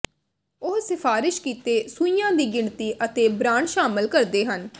ਉਹ ਸਿਫਾਰਸ਼ ਕੀਤੇ ਸੂਈਆਂ ਦੀ ਗਿਣਤੀ ਅਤੇ ਬ੍ਰਾਂਡ ਸ਼ਾਮਲ ਕਰਦੇ ਹਨ